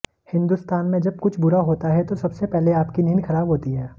हिंदुस्तान में जब कुछ बुरा होता है तो सबसे पहले आपकी नींद खराब होती है